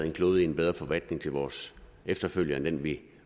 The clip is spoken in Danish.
en klode i en bedre forfatning til vores efterfølgere end den vi